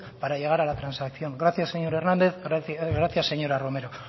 para llegar a la transacción gracias señor hernández gracias señora romero